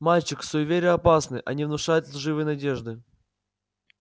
мальчик суеверия опасны они внушают лживые надежды